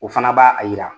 O fana b'a a jira